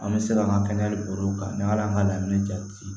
An bɛ se ka an ka kɛnɛyaliw kan n'an y'a an ka daminɛ jati